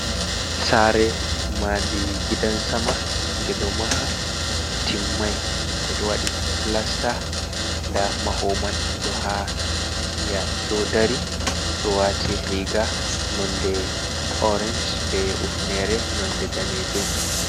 Sare madi gidan sama nde ɗo maha timmai, nde ɗo wadi plasta. Nda mahowo mai ɗo dari o ɗo wati riga nonde orenj be hufnere nonde danejum.